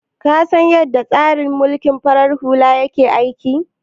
Ka san yadda tsarin mulkin farar hula yake aiki?